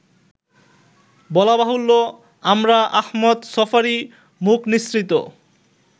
বলাবাহুল্য আমরা আহমদ ছফারই মুখনিসৃত